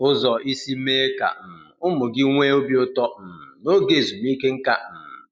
Ụzọ isi mee ka um ụmụ gị nwee obi ụtọ um n'oge ezumike. um